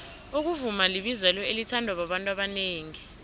ukuvuma libizelo elithandwa babantu abanengi